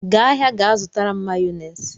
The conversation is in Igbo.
Gaa ahịa ga-zụtara m Mayọnesị!